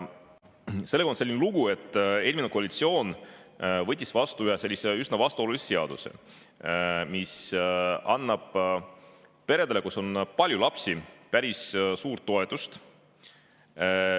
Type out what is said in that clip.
Sellega on selline lugu, et eelmine koalitsioon võttis vastu ühe üsna vastuolulise seaduse, mis annab peredele, kus on palju lapsi, päris suurt toetust.